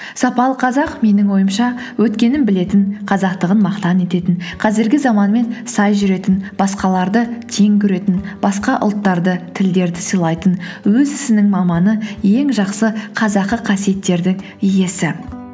сапалы қазақ менің ойымша өткенін білетін қазақтығын мақтан ететін қазіргі заманмен сай жүретін басқаларды тең көретін басқа ұлттарды тілдерді сыйлайтын өз ісінің маманы ең жақсы қазақы қасиеттердің иесі